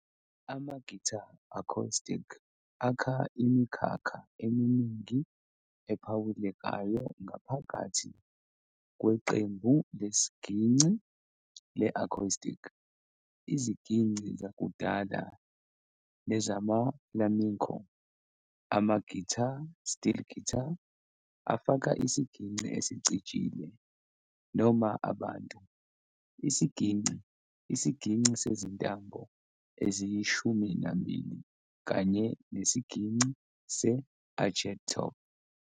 Ama-guitar acoustic akha imikhakha eminingana ephawulekayo ngaphakathi kweqembu lesigingci le-acoustic- izigingci zakudala nezama-flamenco, ama-guitar-steel-guitar, afaka isigingci esicijile, noma "abantu", isiginci, isiginci sezintambo eziyishumi nambili, kanye nesigingci se-arched-top.